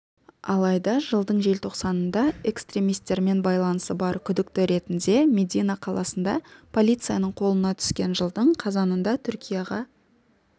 алайда жылдың желтоқсанында экстремисттермен байланысы бар күдікті ретінде медина қаласында полицияның қолына түскен жылдың қазанында түркияға